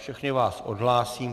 Všechny vás odhlásím.